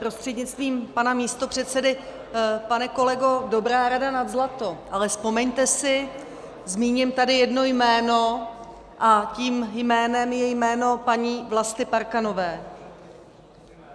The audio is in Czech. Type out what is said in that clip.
Prostřednictvím pana místopředsedy pane kolego, dobrá rada nad zlato, ale vzpomeňte si, zmíním tady jedno jméno a tím jménem je jméno paní Vlasty Parkanové.